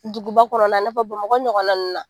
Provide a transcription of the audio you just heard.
Duguba kɔnɔna i n'a fɔ Bamakɔ ɲɔgɔnna na